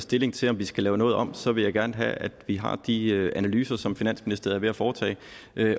stilling til om vi skal lave noget om så vil jeg gerne have at vi har de analyser som finansministeriet er ved at foretage